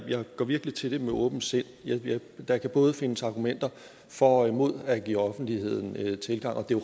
går virkelig til det med åbent sind der kan både findes argumenter for og imod at give offentligheden tilgang og det er